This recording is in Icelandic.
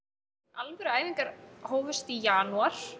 alvöru æfingar hófust í janúar